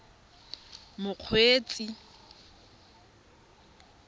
mokgweetsi